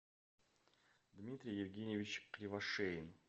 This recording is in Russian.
дмитрий евгеньевич кривошеин